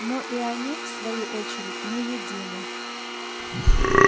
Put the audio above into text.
но и они в свою очередь не едины